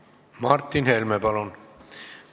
Martin Helme, palun!